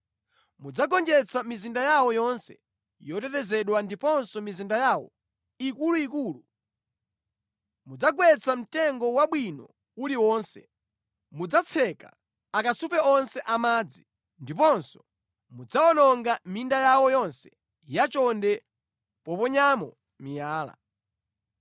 Mudzagonjetsa mizinda yawo yonse yotetezedwa ndiponso mizinda yawo ikuluikulu. Mudzagwetsa mtengo wabwino uliwonse, mudzatseka akasupe onse amadzi, ndiponso mudzawononga minda yawo yonse yachonde poponyamo miyala.”